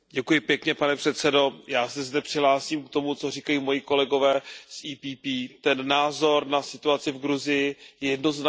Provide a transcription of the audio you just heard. Pane předsedající, já se zde přihlásím k tomu, co říkají moji kolegové z PPE. Ten názor na situaci v Gruzii je jednoznačný.